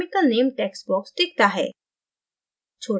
chemical name text box दिखता है